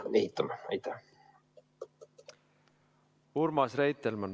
Urmas Reitelmann, palun!